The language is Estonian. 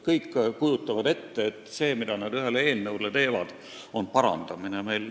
Kõik kujutasid ette, et teevad ettepanekuid eelnõu parandada.